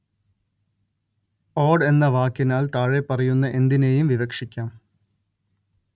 ഓട് എന്ന വാക്കിനാല്‍ താഴെപ്പറയുന്ന എന്തിനേയും വിവക്ഷിക്കാം